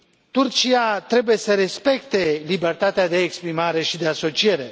Turcia trebuie să respecte libertatea de exprimare și de asociere.